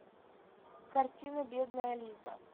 картина бедная лиза